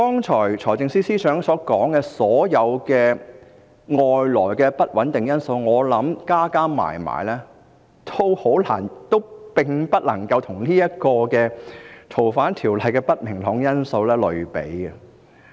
財政司司長剛才提及的所有外在的不穩定因素，我想全部加起來也不能與這項條例草案所帶來的不明朗因素相比。